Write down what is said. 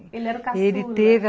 Ele era o caçula, né? Ele teve